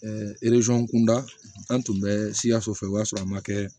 kunda an tun bɛ siyaso fɛ o y'a sɔrɔ a ma kɛ